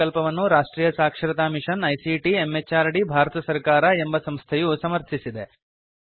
ಈ ಪ್ರಕಲ್ಪವನ್ನು ರಾಷ್ಟ್ರಿಯ ಸಾಕ್ಷರತಾ ಮಿಶನ್ ಐಸಿಟಿ ಎಂಎಚಆರ್ಡಿ ಭಾರತ ಸರ್ಕಾರ ಎಂಬ ಸಂಸ್ಥೆಯು ಸಮರ್ಥಿಸಿದೆ